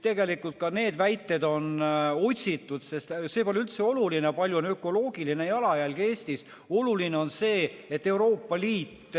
Tegelikult on ka need väited otsitud, sest see pole üldse oluline, kui suur on ökoloogiline jalajälg Eestis, oluline on see, et Euroopa Liit ...